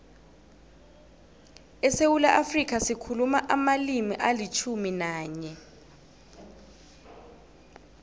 esewula afrika sikhuluma amalimi alitjhumi nanye